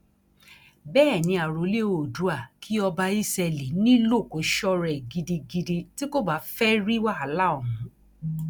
bẹẹ ni àròlé oòdùà kí ọba ísẹlì nílò kó sọra ẹ gidigidi tí kò bá fẹẹ rí wàhálà òun